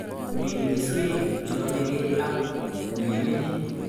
Min keswek chenomekei ak ilemenye